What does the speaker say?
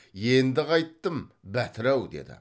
енді қайттім бәтір ау деді